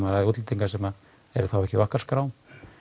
útlendingar sem eru þá ekki á okkar skrá